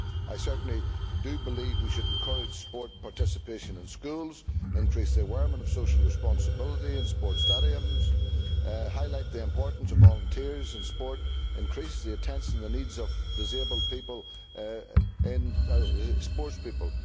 I certainly do believe we should encourage sports participation in schools, increase the awareness of social responsibilities in sports stadiums, highlight the importance of volunteers in sport, increase the attention to the needs of disabled sports people.